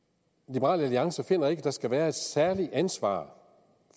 liberal alliance ikke finder at der skal være et særligt ansvar